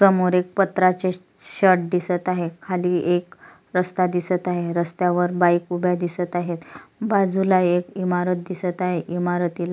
समोर एक पत्र्याचे चश शेड दिसत आहे खाली एक रस्ता दिसत आहे रस्त्यावर बाइक उभ्या दिसत आहे बाजूला एक इमारत दिसत आहे इमारतीला--